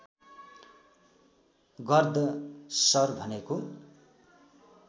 गर्द शर भनेको